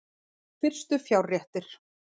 Fyrstu fjárréttir